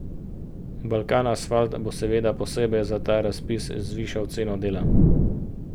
Balkanasfalt bo seveda posebej za ta razpis zvišal ceno dela.